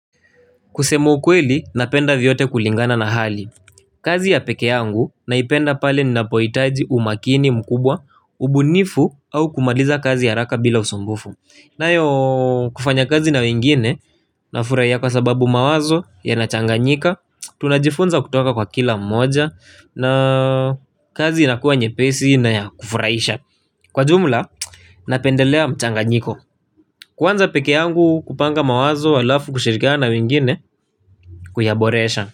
Kusema ukweli, napenda vyote kulingana na hali. Kazi ya pekee yangu, naipenda pale ninapohitaji umakini mkubwa, ubunifu, au kumaliza kazi ha raka bila usumbufu. Nayo kufanya kazi na wengine, nafurahia kwa sababu mawazo, ya nachanganyika, tunajifunza kutoka kwa kila mmoja, na kazi inakuwa nye pesi na ya kufuraisha. Kwa jumla, napendelea mchanganyiko. Kuanza pekee yangu kupanga mawazo alafu kushirikana wengine kuyaboresha.